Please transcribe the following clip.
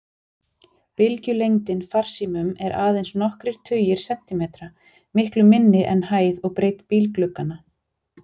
Bylgjulengdin farsímum er aðeins nokkrir tugir sentimetra, miklu minni en hæð og breidd bílglugganna.